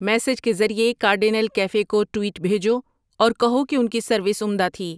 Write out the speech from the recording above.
message کے ذریعے cardinal cafe کو ٹویٹ بھیجو اور کہو کہ ان کی سروس عمدہ تھی